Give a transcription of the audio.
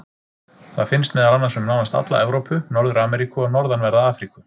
Það finnst meðal annars um nánast alla Evrópu, Norður-Ameríku og norðanverða Afríku.